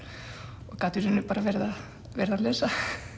og gat í rauninni bara verið að lesa